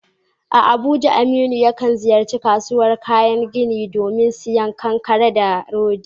A Abuja, Aminu yakan ziyarci kasuwar kayan gini domin sayen kankare da rodi.